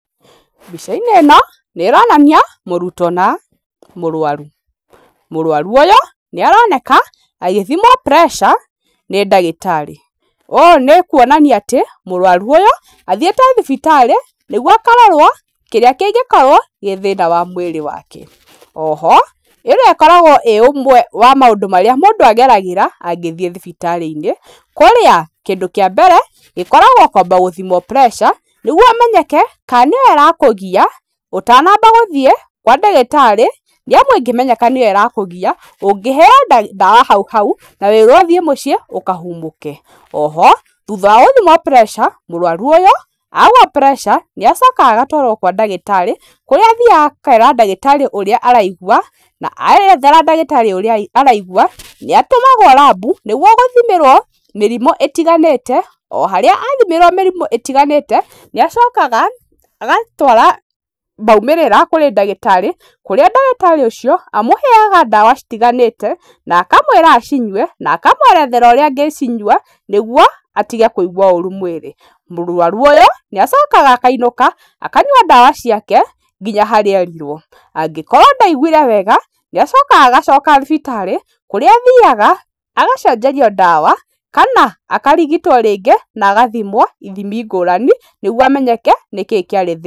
Mbica-inĩ ĩno nĩ ĩronania mũrutwo na mũrwaru. Mũrwaru ũyũ nĩ aroneka agĩthimwo pressure nĩ ndagĩtarĩ, ũũ nĩ kũonania atĩ mũrwaru ũyũ athĩite thibitarĩ nĩguo akarorwo kĩrĩa kĩngĩkorwo gĩ thĩna wa mũĩrĩ wake. O ho ĩno ĩkoragwo ĩ ũmwe wa maũndũ marĩa mũndũ ageragĩra angĩthĩe thibitarĩ-inĩ kũrĩa kĩndũ kĩa mbere gĩkoragwo kwamba gũthimwo pressure, nĩguo ũmenyeke ka nĩyo ĩrakũgia , ũtanamba gũthiĩ kwa ndagĩtarĩ, nĩamu ĩngĩmenyeka nĩyo ĩrakũgĩa ũngĩheyo ndawa hau hau na wĩrwo ũthiĩ mũciĩ ũkahumũke. O ho thutha wa gũthimwo pressure mũrwaru ũyũ agwa pressure nĩ acokaga agatwarwo kwa ndagĩtarĩ kũrĩa athiaga akera ndagĩtarĩ ũrĩa araigua, na erethera ndagĩtarĩ ũrĩa araigua nĩ atũmagwo rambu, nĩguo gũthimĩrwo mĩrimũ ĩtiganĩte o harĩa athimĩrwo mĩrimũ ĩtiganĩte, nĩacokaga agatwara maumĩrĩra kũrĩ ndagĩtarĩ kũrĩa ndagĩtarĩ ũcio amũheaga ndawa citiganĩte, na akamwĩra acinyũe na akamwerethera ũrĩa angĩcinyũa nĩguo atige kũigũa ũru mũĩrĩ. Mũrwaru ũyũ nĩ acokaga akainũka akanywa ndawa ciake nginya harĩa erirwo, angĩkorwo ndaigũire wega nĩacokaga agacoka thibitarĩ kũrĩa athiaga agacenjerio ndawa, kana akarigitwo rĩngĩ na agathimwo ithimi ngũrani, nĩguo amenyeke nĩkĩ kĩarĩ thĩna.